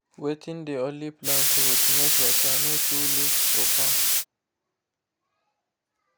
wetting dey only plant roots make water no too loss for farm